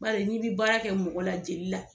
Baari n'i bi baara kɛ mɔgɔ la jeli la